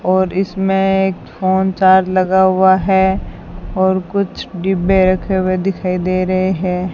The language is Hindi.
और इसमें एक फोन चार्ज लगा हुआ है और कुछ डिब्बे रखे हुए दिखाई दे रहे है।